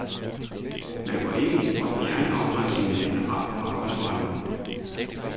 Man går ikke ind for at fjerne afgrænsningerne generelt på arbejdsmarkedet.